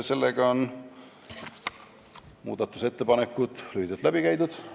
Sellega on muudatusettepanekud lühidalt läbi käidud.